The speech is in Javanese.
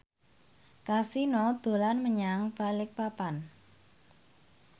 Kasino dolan menyang Balikpapan